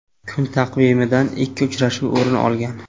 Kun taqvimidan ikki uchrashuv o‘rin olgan.